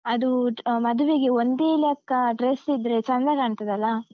ಅದೂ ಮದುವೆಗೆ ಒಂದೇ ಲೆಕ್ಕ dress ಇದ್ರೆ ಚಂದ ಕಾಣ್ತದಲಾ?